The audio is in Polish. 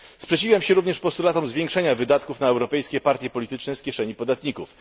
Sprzeciwiam się również postulatom zwiększenia wydatków na europejskie partie polityczne z kieszeni podatników.